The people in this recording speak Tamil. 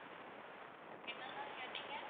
என்னா ma'am கேட்டீங்க?